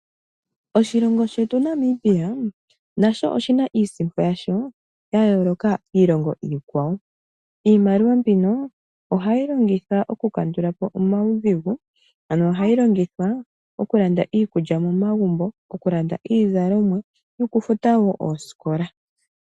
Oshilongo shetu Namibia, nasho oshina iisimpo yasho ya yooloka kiilongo iikwawo. Iimaliwa mbino ohayi longitwa oku kandula po omaudhigu. Ano ohayi longithwa oku landa iikulya mo magumbo, oku landa iizalomwa, noku futa oosikola.